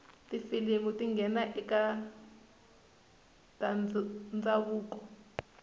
tifilimu tingena ekatandzavuko